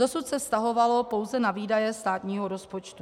Dosud se vztahovalo pouze na výdaje státního rozpočtu.